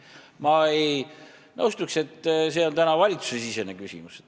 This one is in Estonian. Ma ei nõustuks, et see on valitsusesisene küsimus.